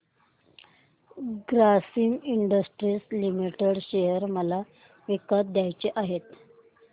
Grasim industries limited share मला विकत घ्यायचे आहेत